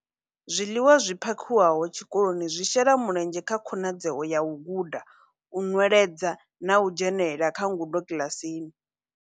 Zwiḽiwa zwi phakhiwaho tshikoloni zwi shela mulenzhe kha khonadzeo ya u guda, u nweledza na u dzhenela kha ngudo kiḽasini.